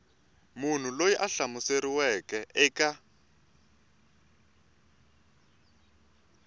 munhu loyi a hlamuseriweke eka